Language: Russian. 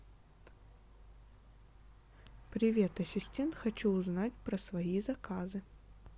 привет ассистент хочу узнать про свои заказы